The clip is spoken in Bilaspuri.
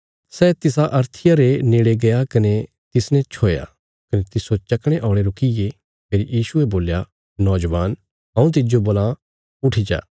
सै तिसा अर्थिया रे नेड़े गया कने तिसने छोया कने तिस्सो चकणे औल़े रुकीये फेरी यीशुये बोल्या नौजवान हऊँ तिज्जो बोलां उट्ठ जा